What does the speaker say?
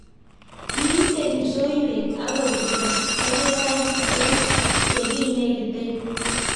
Kiite kipsoiywet akobirto kebebaik eng ye kinegite